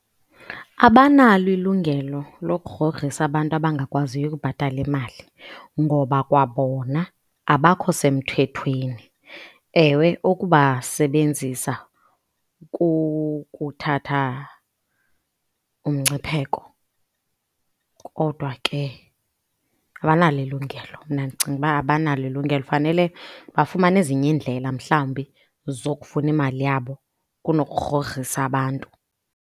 Abanalo ilungelo lokugrogrisa abantu abangakwaziyo ukubhatala imali ngoba kwabona abakho semthethweni. Ewe, ukuba sebenzisa kukuthatha umgcipheko kodwa ke abanalo ilungelo. Mna ndicinga uba abanalo ilungelo, fanele bafumane ezinye iindlela mhlawumbi zokufuna imali yabo kunokugrogrisa abantu.